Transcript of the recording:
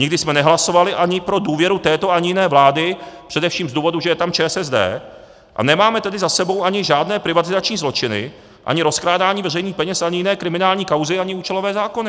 Nikdy jsme nehlasovali ani pro důvěru této ani jiné vlády, především z důvodu, že je tam ČSSD, a nemáme tedy za sebou ani žádné privatizační zločiny, ani rozkrádání veřejných peněz, ani jiné kriminální kauzy, ani účelové zákony.